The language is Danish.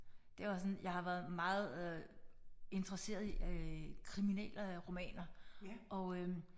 Det var sådan jeg har været meget øh interesseret i øh kriminal øh romaner og øh